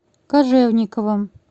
кожевниковым